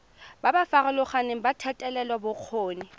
ba ba farologaneng ba thetelelobokgoni